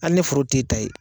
Ali ni foro tɛ e ta ye.